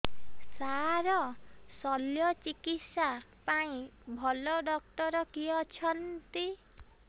ସାର ଶଲ୍ୟଚିକିତ୍ସା ପାଇଁ ଭଲ ଡକ୍ଟର କିଏ ଅଛନ୍ତି